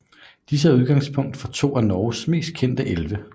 Disse er udgangspunkt for to af Norges mest kendte elve